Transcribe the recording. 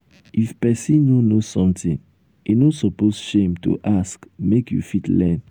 if pesin no know something e no suppose shame to ask make you fit learn.